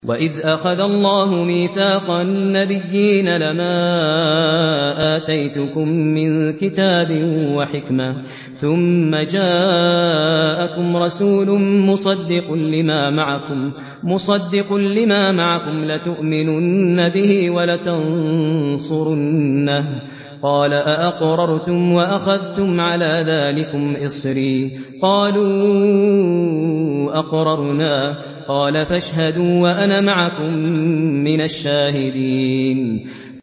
وَإِذْ أَخَذَ اللَّهُ مِيثَاقَ النَّبِيِّينَ لَمَا آتَيْتُكُم مِّن كِتَابٍ وَحِكْمَةٍ ثُمَّ جَاءَكُمْ رَسُولٌ مُّصَدِّقٌ لِّمَا مَعَكُمْ لَتُؤْمِنُنَّ بِهِ وَلَتَنصُرُنَّهُ ۚ قَالَ أَأَقْرَرْتُمْ وَأَخَذْتُمْ عَلَىٰ ذَٰلِكُمْ إِصْرِي ۖ قَالُوا أَقْرَرْنَا ۚ قَالَ فَاشْهَدُوا وَأَنَا مَعَكُم مِّنَ الشَّاهِدِينَ